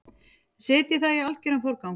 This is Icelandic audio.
Setjið það í algeran forgang.